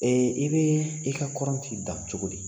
i bɛ i ka kɔrɔnti dan cogo di?